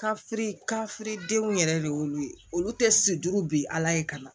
Ka fifiridenw yɛrɛ de y'olu ye olu tɛ sido bi ala ye ka na